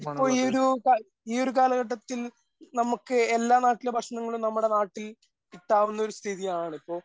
ഇപ്പോൾ ഈ ഒരു കാല കാലഘട്ടത്തിൽ നമുക്ക് എല്ലാ നാട്ടിലെ ഭക്ഷണങ്ങളും നമ്മുടെ നാട്ടിൽ കിട്ടാവുന്ന ഒരു സ്ഥിതിയാണ് ഇപ്പൊ